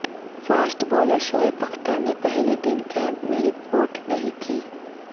fast bowler Shoaib Akhtar نے پہلے دن کیمپ میں رپورٹ نہیں کی